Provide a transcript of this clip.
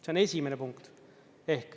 See on esimene punkt.